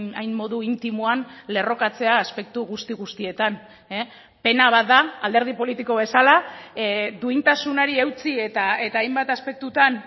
hain modu intimoan lerrokatzea aspektu guzti guztietan pena bat da alderdi politiko bezala duintasunari eutsi eta hainbat aspektutan